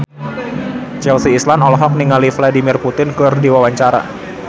Chelsea Islan olohok ningali Vladimir Putin keur diwawancara